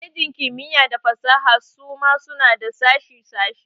Kwalejin kimiyya da fasaha suma suna da sashe sashe.